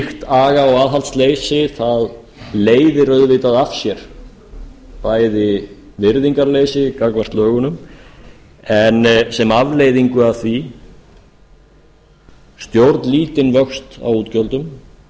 aga og aðhaldsleysi leiðir auðvitað af sér bæði virðingarleysi gagnvart lögunum en sem afleiðingu af því stjórnlítinn vöxt á útgjöldum